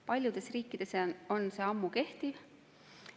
Paljudes riikides see ammu kehtib.